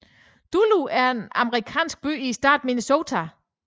Duluth er en amerikansk by i staten Minnesota